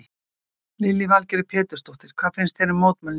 Lillý Valgerður Pétursdóttir: Hvað fannst þér um mótmælin í gær?